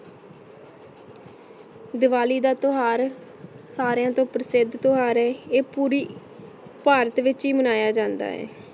ਦਾਵਾਲੀ ਦਾ ਟੁਹਾਰ ਸਾਰੀਆਂ ਤੋਂ ਪ੍ਰਸਿਧ ਟੁਹਾਰ ਹੈ ਆਯ ਪੋਰੀ ਭਾਰਤ ਵਿਚ ਈ ਮਨਾਯਾ ਜਾਂਦਾ ਹੈ